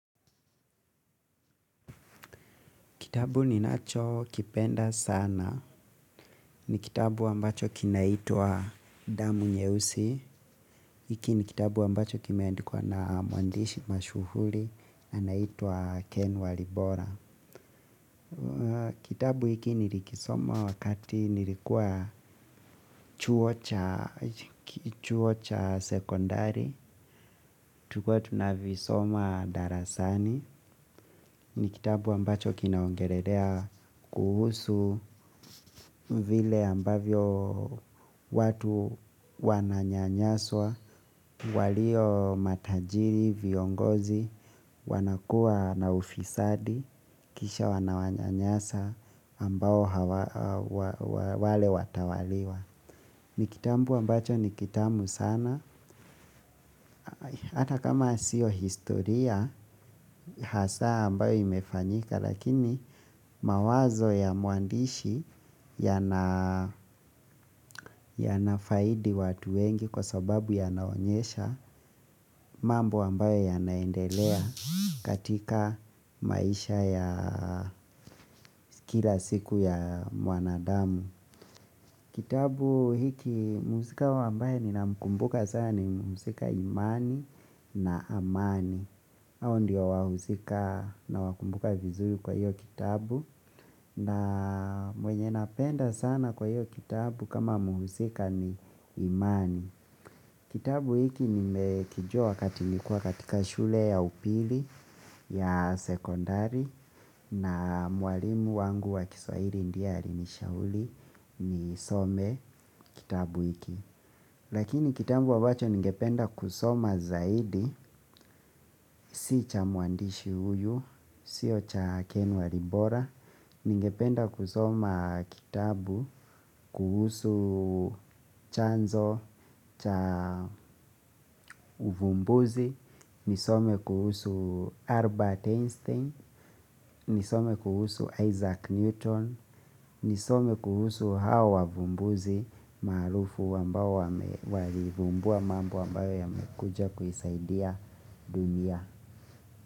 Kitabu ni nacho kipenda sana. Ni kitabu ambacho kinaitwa Damu Nyeusi. Hiki ni kitabu ambacho kimeandikwa na mwandishi mashuhuri. Anaitwa Ken Walibora. Kitabu hiki nilikisoma wakati nilikua chuo cha sekondari. Tulikwa tunavisoma darasani. Ni kitabu ambacho kinaongelelea kuhusu vile ambavyo watu wananyanyaswa, walio matajiri, viongozi, wanakua na ufisadi, kisha wananyanyasa ambao wale watawaliwa. Ni kitabu ambacho ni kitamu sana. Hata kama sio historia hasa ambayo imefanyika lakini, mawazo ya mwandishi yanafaidi watu wengi kwa sababu yanaonyesha mambo ambayo yanaendelea katika maisha ya kila siku ya mwanadamu. Kitabu hiki mhusika ambaye ninamkumbuka sana ni mhusika Imani na Amani. Hao ndio wahuzika nawakumbuka vizuri kwa hiyo kitabu. Na mwenye napenda sana kwa hiyo kitabu kama muhuzika ni imani. Kitabu hiki nimekijua wakati nilikuwa katika shule ya upili ya sekondari. Na mwalimu wangu wa Kiswahili ndiye alinishauri nisome kitabu hiki. Lakini kitabu ambacho nigependa kusoma zaidi, si cha mwandishi uyu, siyo cha Ken wa Libora. Ningependa kusoma kitabu kuhusu chanzo cha uvumbuzi, nisome kuhusu Albert Einstein, nisome kuhusu Isaac Newton, nisome kuhusu hawa wavumbuzi maarufu ambao walivumbua mambo ambayo yamekuja kuisaidia dunia.